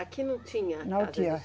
Aqui não tinha nada. Não tinha.